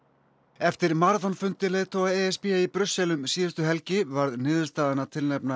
eftir maraþonfundi leiðtoga e s b í Brussel um síðustu helgi varð niðurstaðan að tilnefna